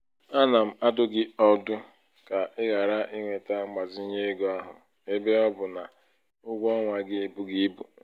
ana m adụ gị ọdụ ka ị ghara iweta mgbazinye ego ahụ ebe ọ bụ na ụgwọ ọnwa gị ebughị ibu.